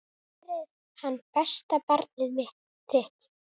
Verði hann besta barnið þitt.